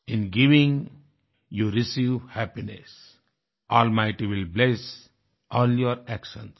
in giving you receive happiness almighty will bless all your actions